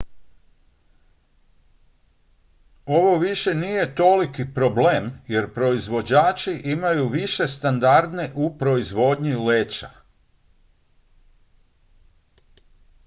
ovo više nije toliki problem jer proizvođači imaju više standarde u proizvodnji leća